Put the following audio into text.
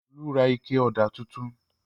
Olú ra ike ọ̀dà tuntun.